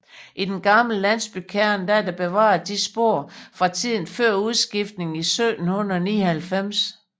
I den gamle landsbykerne er der bevaret visse spor fra tiden før udskiftningen i 1799